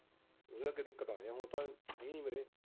ਇਹ ਜਾਕੇ ਦਿਕੱਤ ਆਉਂਦੀ ਹੁਣ ਤਾਂ ਹ ਨੀ ਵੀਰੇ।